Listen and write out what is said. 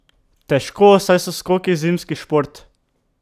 Težko, saj so skoki zimski šport.